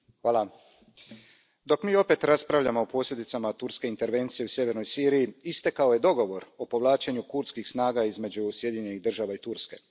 Poštovani predsjedavajući, dok mi opet raspravljamo o posljedicama turske intervencije u sjevernoj Siriji, istekao je dogovor o povlačenju kurdskih snaga između Sjedinjenih Država i Turske.